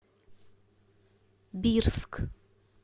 бирск